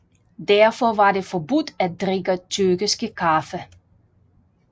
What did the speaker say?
Derfor var det forbudt at drikke tyrkisk kaffe